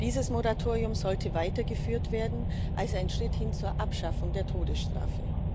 Dieses Moratorium sollte weitergeführt werden als ein Schritt hin zur Abschaffung der Todesstrafe.